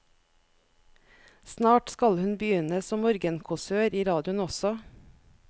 Snart skal hun begynne som morgenkåsør i radioen også.